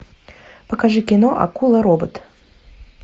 покажи кино акула робот